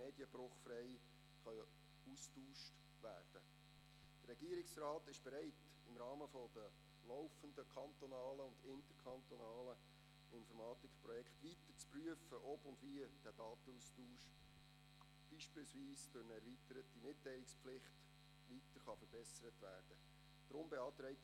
Der Regierungsrat ist bereit, im Rahmen der laufenden kantonalen und interkantonalen Informatikprojekte weiter zu prüfen, ob und wie der Datenaustausch beispielsweise durch eine erweiterte Mitteilungspflicht weiter verbessert werden könnte.